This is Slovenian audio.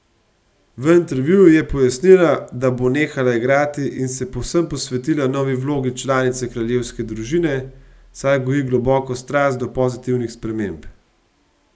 V intervjuju je pojasnila, da bo nehala igrati, in se povsem posvetila novi vlogi članice kraljevske družine, saj goji globoko strast do pozitivnih sprememb.